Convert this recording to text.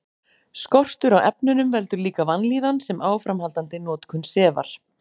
Skortur á efnunum veldur líka vanlíðan sem áframhaldandi notkun sefar.